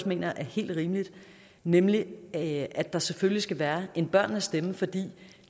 mener er helt rimeligt nemlig at der selvfølgelig skal være en børnenes stemme fordi